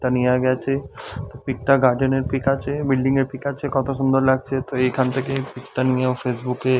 তা নিয়া গেছে পিক টা গার্ডেন এর পিক আছে বিল্ডিং এর পিক আছে কতো সুন্দর লাগছে তো এখান থেকে পিক টা নিয়ে ফেসবুকে এ --